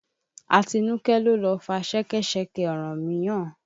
Atinúkẹ́ ló lọ fa ṣẹkẹ́ṣẹkẹ̀ ọ̀rànmìyàn.